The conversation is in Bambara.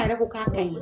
A yɛrɛ ko k'a ka ɲi